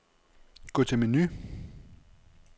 Gå til menu.